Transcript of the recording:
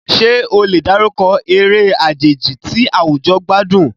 Ṣé o lè dárúkọ eré àjèjì tí àwùjọ gbádùn?